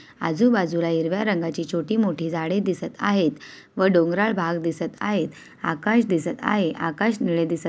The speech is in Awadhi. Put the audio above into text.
आजूबाजूला हिरव्या रंगाची छोटी मोठी झाडे दिसत आहेत व डोंगराळ भाग दिसत आहेत आकाश दिसत आहे आकाश निळे दिसत --